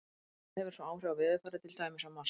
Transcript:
Þetta hefur svo áhrif á veðurfarið, til dæmis á Mars.